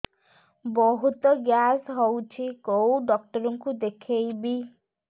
ବହୁତ ଗ୍ୟାସ ହଉଛି କୋଉ ଡକ୍ଟର କୁ ଦେଖେଇବି